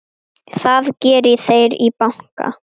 Það geri þeir í banka.